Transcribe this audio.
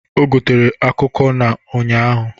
O gotere akụkụ na ụnyaahụ